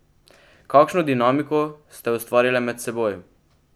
Kakšno dinamiko ste ustvarile med seboj?